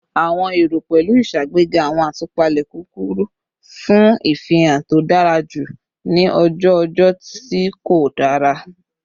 Awọn ero pẹlu iṣagbega awọn atupa kurukuru fun hihan to dara julọ ni oju ojo ti ko dara